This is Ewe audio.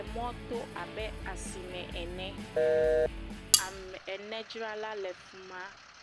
Emɔto abe asime ene. Ame ene dzrala le afima.